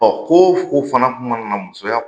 Ɔ ko fo fana kun mana na musoya